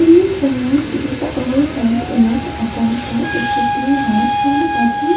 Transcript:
in this image it is the all side image i can say it should be a nice one i think --